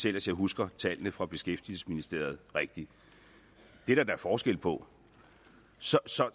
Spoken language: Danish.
ellers husker tallet fra beskæftigelsesministeriet rigtigt det er der da forskel på så så